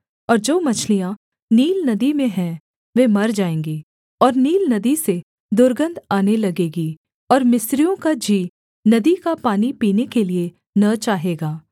और जो मछलियाँ नील नदी में हैं वे मर जाएँगी और नील नदी से दुर्गन्ध आने लगेगी और मिस्रियों का जी नदी का पानी पीने के लिये न चाहेगा